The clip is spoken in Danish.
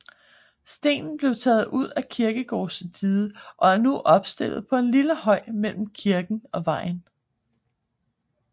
Stenen blev taget ud af kirkegårdsdiget og er nu opstillet på en lille høj mellem kirken og vejen